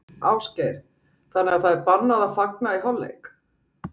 Ásgeir: Þannig að það er bannað að fagna í hálfleik?